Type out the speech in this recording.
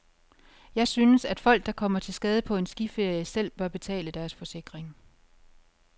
Jeg synes, at folk, der kommer til skade på en skiferie, selv bør betale deres forsikring.